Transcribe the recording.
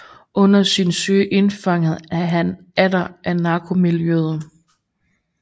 Under sin søgen indfanges han atter af narkomiljøet